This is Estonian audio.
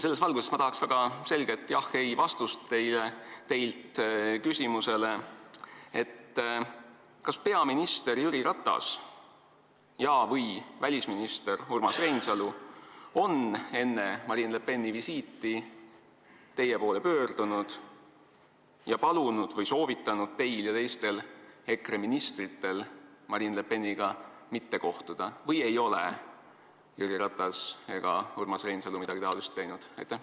Selles valguses tahaks jah/ei-vastust küsimusele, kas peaminister Jüri Ratas ja/või välisminister Urmas Reinsalu on enne Marine Le Peni visiiti teie poole pöördunud ja palunud või soovitanud teil ja teistel EKRE ministritel Marine Le Peniga mitte kohtuda või ei ole Jüri Ratas ega Urmas Reinsalu midagi sellist teinud?